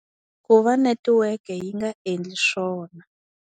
Ku va netiweke yi nga endli swona.